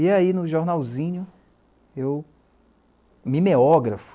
E aí, no jornalzinho, eu me meógrafo.